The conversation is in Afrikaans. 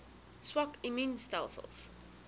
swak immuun stelsels